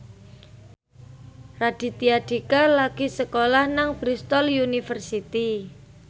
Raditya Dika lagi sekolah nang Bristol university